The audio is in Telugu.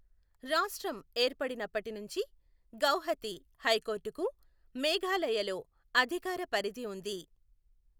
రాష్ట్రం ఏర్పడినప్పటి నుంచి గౌహతి హైకోర్టుకు మేఘాలయలో అధికార పరిధి ఉంది.